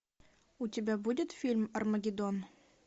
у тебя будет фильм армагеддон